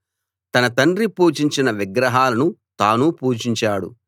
తన తండ్రి పూజించిన విగ్రహాలను తానూ పూజించాడు